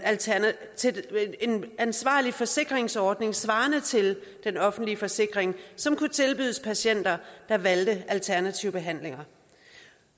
forsvarlig forsikringsordning svarende til den offentlige forsikring som kunne tilbydes patienter der valgte alternative behandlinger